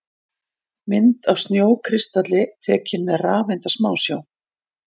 Mynd af snjókristalli tekin með rafeindasmásjá.